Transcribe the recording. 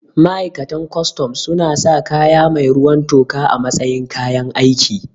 Ma'aikatan kustum suna sa kaya mai ruwan toka a matsayin kayan aiki